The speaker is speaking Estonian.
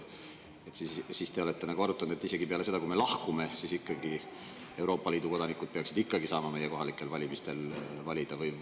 Kas te olete arutanud, et isegi peale seda, kui me oleme sealt lahkunud, peaksid Euroopa Liidu kodanikud saama meie kohalikel valimistel valida?